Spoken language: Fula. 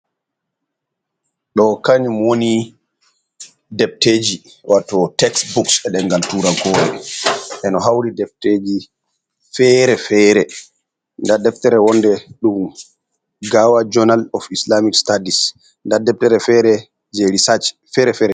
Ɗo kanyum woni defteji wato teksbuks ena demgal turan kore. Ena hauri defteji fere fere, nda deftere wonde dum gawa jonal of islamic stadis. Nda deftere fere je risaj ferefere.